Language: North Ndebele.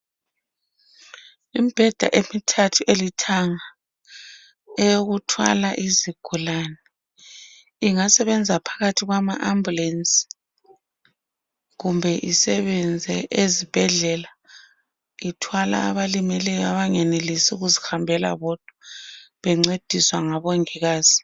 Imbheda emithathu elithanga eyokuthwala izigulane ingasebenza phakathi kwama ambulance kumbe isebenze ezibhedlela ithwala abalimeleyo abangakwanisi ukuzihambela bodwa bencendiswa ngomongikazi